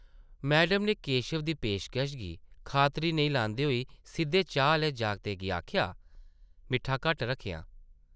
Madam नै केशव दी पेशकश गी खातरी नेईं लांदे होई सिद्धे चाही आह्ले जागतै गी आखेआ , ‘‘मिट्ठा घट्ट रक्खेआं ।’’